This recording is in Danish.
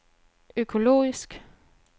økologisk